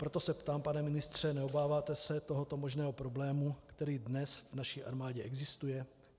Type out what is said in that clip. Proto se ptám, pane ministře: Neobáváte se tohoto možného problému, který dnes v naší armádě existuje?